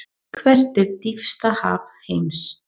Hvert er dýpsta haf heims?